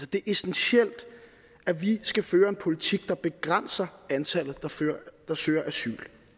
det er essentielt at vi skal føre en politik der begrænser antallet der søger asyl